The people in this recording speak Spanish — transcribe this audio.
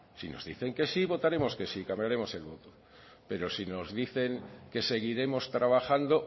si nos dicen que sí votaremos que sí cambiaremos el voto pero si nos dicen que seguiremos trabajando